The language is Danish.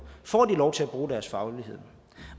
får de lov til at bruge deres faglighed